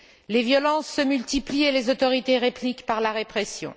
Les violences se multiplient et les autorités répliquent par la répression.